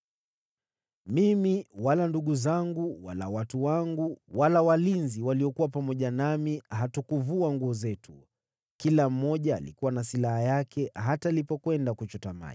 Mimi, wala ndugu zangu, wala watu wangu, wala walinzi waliokuwa pamoja nami hatukuvua nguo zetu. Kila mmoja alikuwa na silaha yake, hata alipokwenda kuchota maji.